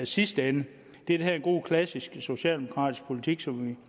sidste ende det er den her gode klassiske socialdemokratiske politik som